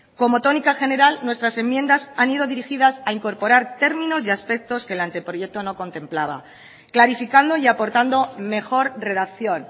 como tónica general nuestras enmiendas han ido dirigidas a incorporar términos y aspectos que el anteproyecto no contemplaba clarificando y aportando mejor redacción